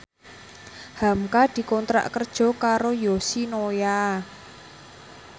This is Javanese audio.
hamka dikontrak kerja karo Yoshinoya